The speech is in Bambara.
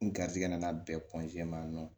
N garijɛgɛ nana bɛn ma nɔ